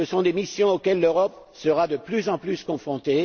Ce sont des missions auxquelles l'Europe sera de plus en plus confrontée.